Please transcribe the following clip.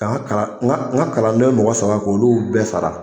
Ka n ga kalan n ga kalanden mɔgɔ saba k'olu bɛɛ sara